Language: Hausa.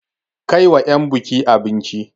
Kai wa 'yan buki abinci!